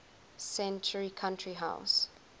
century country house